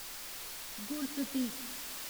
गुरसुती